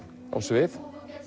á svið